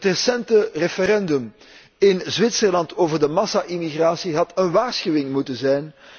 Het recente referendum in Zwitserland over de massa immigratie had een waarschuwing moeten zijn.